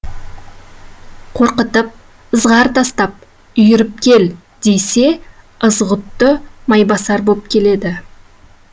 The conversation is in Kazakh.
қорқытып ызғар тастап үйіріп кел десе ызғұтты майбасар боп келеді